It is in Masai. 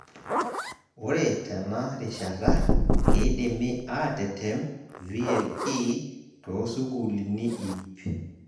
Ore tena rishata, keidimi atetem VLE toosukulini ip